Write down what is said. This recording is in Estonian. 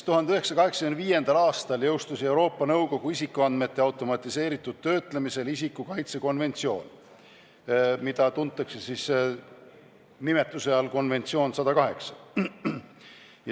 1985. aastal jõustus Euroopa Nõukogu koostatud isikuandmete automatiseeritud töötlemisel isiku kaitse konventsioon, mida tuntakse nimetuse all "konventsioon 108".